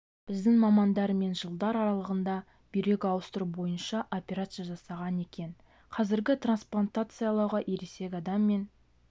біздің мамандар мен жылдар аралығында бүйрек ауыстыру бойынша операция жасаған екен қазір трансплантациялауға ересек адам мен